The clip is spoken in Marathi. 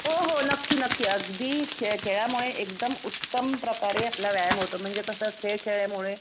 हो हो नक्की नक्की अगदी खेळामुळे एकदम उत्तम प्रकारे आपला व्यायाम होतो म्हणजे कसं खेळ खेळल्यामुळे.